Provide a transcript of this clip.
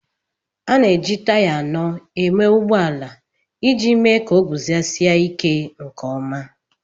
A na-eji taya anọ eme ụgbọ ala iji me ka oguzosi ike nke ọma